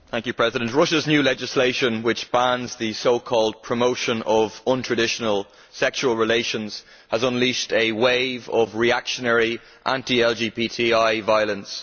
Mr President, Russia's new legislation which bans the so called promotion of untraditional sexual relations has unleashed a wave of reactionary anti LGBTI violence.